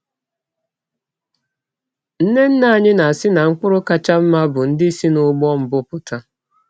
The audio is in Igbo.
Nne nne anyị na-asị na mkpụrụ kacha mma bụ ndị si n’ụgbọ mbụ pụta.